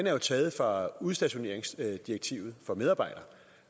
er jo taget fra udstationeringsdirektivet for medarbejdere